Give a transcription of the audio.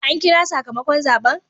An kira sakamakon zaben?